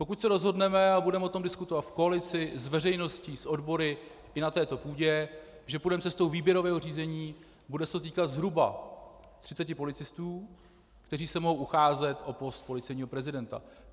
Pokud se rozhodneme - a budeme o tom diskutovat v koalici, s veřejností, s odbory i na této půdě -, že půjdeme cestou výběrového řízení, bude se to týkat zhruba 30 policistů, kteří se mohou ucházet o post policejního prezidenta.